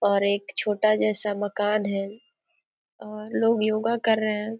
और एक छोटा जैसा मकान है और लोग योगा कर रहे हैं|